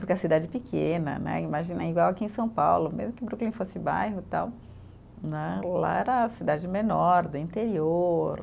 Porque a cidade pequena né, imagina, igual aqui em São Paulo, mesmo que Brooklyn fosse bairro tal, né, lá era cidade menor, do interior.